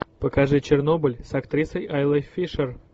покажи чернобыль с актрисой айлой фишер